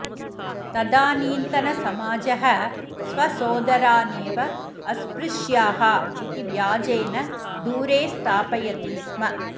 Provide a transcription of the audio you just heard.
तदानीन्तनसमाजः स्वसोदरानेव अस्पृश्याः इति व्याजेन दूरे स्थापयति स्म